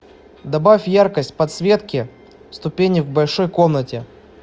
добавь яркость подсветки ступенек в большой комнате